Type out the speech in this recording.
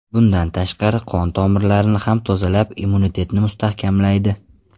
Bundan tashqari, qon-tomirlarni ham tozalab, immunitetni mustahkamlaydi.